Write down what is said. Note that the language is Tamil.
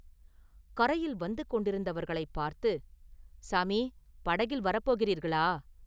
கரையில் வந்து கொண்டிருந்தவர்களைப் பார்த்து, “சாமி படகில் வரப் போகிறீர்களா?